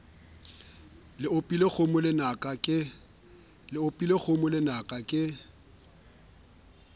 le opileng kgomo lenaka ke